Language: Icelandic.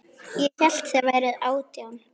Ég hélt þér væruð átján.